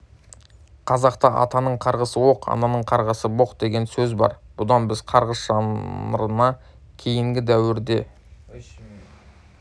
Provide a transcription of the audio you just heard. қазақта атаның қарғысы оқ ананың қарғысы боқ деген сөз бар бұдан біз қарғыс жанрына кейінгі дәуірде